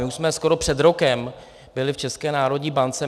My už jsme skoro před rokem byli v České národní bance.